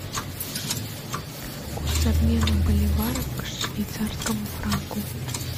курс обмена боливара к швейцарскому франку